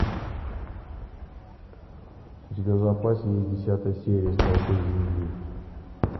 у тебя в запасе есть десятая серия столпы земли